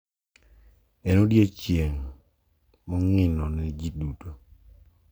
En odiechieng` mongino ne ji duto.